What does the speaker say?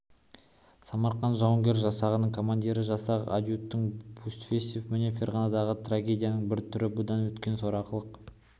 самарқан жауынгер жасағының командирі жасақ адъютанты бусверов міне ферғанадағы трагедияның бір түрі бұдан өткен сорақылық